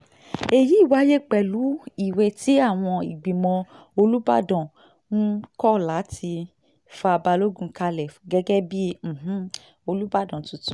èyí wáyé pẹ̀lú ìwé tí àwọn ìgbìmọ̀ olùbàdàn um kọ láti fa balogun kalẹ̀ gẹ́gẹ́ bíi um olùbàdàn tuntun